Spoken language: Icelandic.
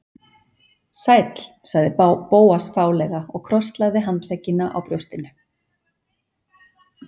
Sæll- sagði Bóas fálega og krosslagði handleggina á brjóstinu.